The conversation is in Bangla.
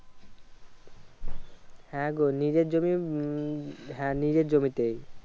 হ্যাঁগো নিজের জমি উম হ্যাঁ নিজের জমি হ্যাঁ নিজের জমিতেই।